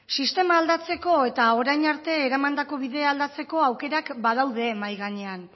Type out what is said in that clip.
sistema aldatzeko eta orain arte eramandako bidea aldatzeko aukera badaude mahai gainean